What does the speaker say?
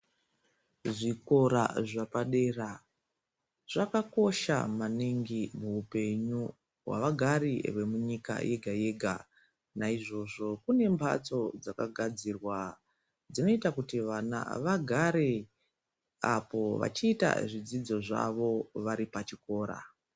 Zvikora zvepadera zvakakosha maningi muupenyu wevagari vemunyika yega yega naizvozvo kune mbatso dzakagadzirwa dzinoita kuti vana vagare vechiita zvidzidzo zvavo vari pachikora.